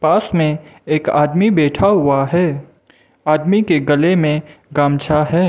इसमें एक आदमी बैठा हुआ है आदमी के गले में गमछा है।